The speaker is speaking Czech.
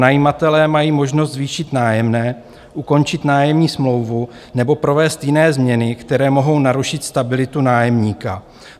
Pronajímatelé mají možnost zvýšit nájemné, ukončit nájemní smlouvu nebo provést jiné změny, které mohou narušit stabilitu nájemníka.